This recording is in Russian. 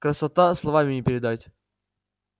красота словами не передать